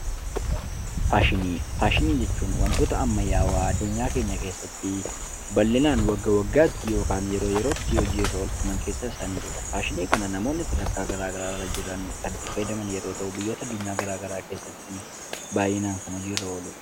Faashinii, faashinii jechuun wantoota ammayyaawwaa addunyaa keenya keessatti bal'inaan wagga waggaatti yookiin yeroo yerootti hojiirra oolfaman keessaa isaan ijoodha. Faashina kana namoonni sadarkaa garagaraarra jiran kan itti fayyadam yeroo ta'u biyyoota adunyaa gara garaa keesaatti baayyinaan kan hojiirra oolidha.